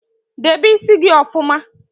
Debe ísí gị ọfụma!